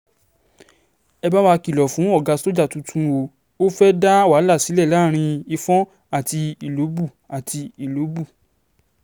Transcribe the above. ẹ bá wa kìlọ̀ fún ọ̀gá sójà tuntun o ò fẹ́ẹ̀ dá wàhálà sílẹ̀ láàrin ìfọ̀n àti ìlọ́bù àti ìlọ́bù